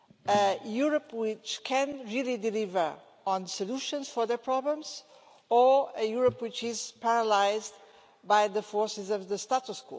A Europe which can really deliver on solutions for their problems, or a Europe which is paralysed by the forces of the status quo?